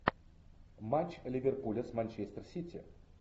матч ливерпуля с манчестер сити